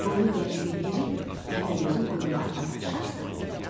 Bir qoyun dərisinə girib təpəgözün qoyunlarına qarışarsan.